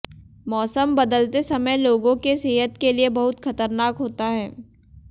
मौसम बदलते समय लोगो के सेहत के लिए बहुत खतरनाक होता है